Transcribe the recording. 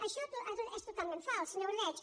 això és totalment fals senyor ordeig